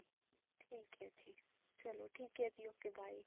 ਠੀਕ ਹੈ ਜੀ ਚਲੋ ਠੀਕ ਹੈ ਜੀ okay bye